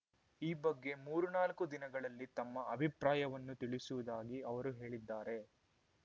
ಈ ಬಗ್ಗೆ ಮೂರ್ ನಾಲ್ಕು ದಿನಗಳಲ್ಲಿ ತಮ್ಮ ಅಭಿಪ್ರಾಯವನ್ನು ತಿಳಿಸುವುದಾಗಿ ಅವರು ಹೇಳಿದ್ದಾರೆ